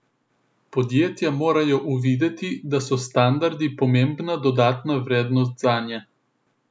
Podjetja morajo uvideti, da so standardi pomembna dodana vrednost zanje.